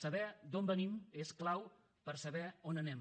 saber d’on venim és clau per saber on anem